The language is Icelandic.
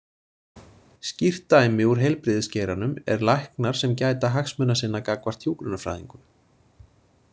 Skýrt dæmi úr heilbrigðisgeiranum er læknar sem gæta hagsmuna sinna gagnvart hjúkrunarfræðingum.